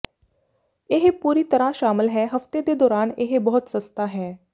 ਇਹ ਪੂਰੀ ਤਰਾਂ ਸ਼ਾਮਲ ਹੈ ਹਫ਼ਤੇ ਦੇ ਦੌਰਾਨ ਇਹ ਬਹੁਤ ਸਸਤਾ ਹੈ